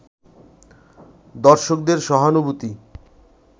দর্শকদের সহানুভূতি